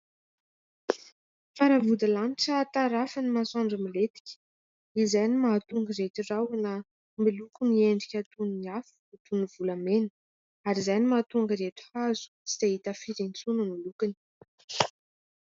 Fara vody lanitra tarafin'ny masoandro milentika. Izay no mahatonga ireto rahona miloko ny endrika toy ny afo, toy ny volamena ary izay ny mahatonga ireto hazo tsy dia hita firy intsony ny lokony.